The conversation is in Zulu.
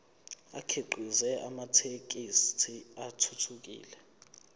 akhiqize amathekisthi athuthukile